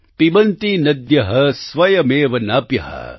પિબન્તિ નદ્યઃ સ્વયમેવ નામ્ભઃ